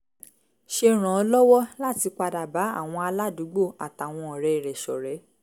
ṣe ràn án lọ́wọ́ láti padà bá àwọn aládùúgbò àtàwọn ọ̀rẹ́ rẹ̀ ṣọ̀rẹ́